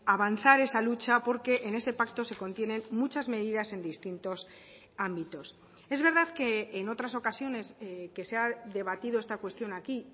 avanzar esa lucha porque en ese pacto se contienen muchas medidas en distintos ámbitos es verdad que en otras ocasiones que se ha debatido esta cuestión aquí